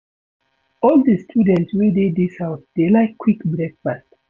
All di students wey dey dis house dey like quick breakfast.